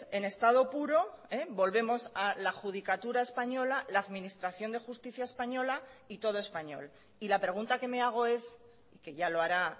en estado puro volvemos a la judicatura española la administración de justicia española y todo español y la pregunta que me hago es que ya lo hará